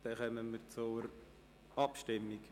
Damit kommen wir zur Abstimmung.